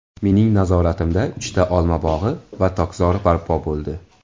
Mening nazoratimda uchta olma bog‘i va tokzor barpo bo‘ldi.